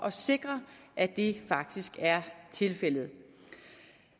at sikre at det faktisk er tilfældet